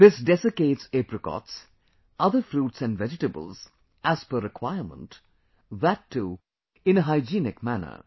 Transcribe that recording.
This desiccates apricots, other fruits & vegetables as per requirement; that too in a hygienic manner